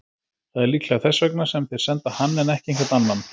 Það er líklega þess vegna sem þeir senda hann en ekki einhvern annan.